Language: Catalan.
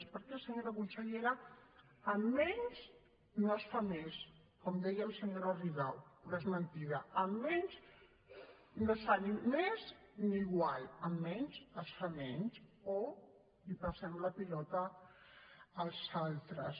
perquè senyora consellera amb menys no es fa més com deia la senyora rigau però és mentida amb menys no es fa ni més ni igual amb menys es fa menys o passem la pilota als altres